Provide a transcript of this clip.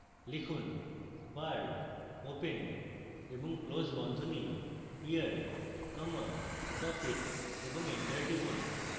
লিখুন bar open এবং close বন্ধনী year comma profit এবং enter টিপুন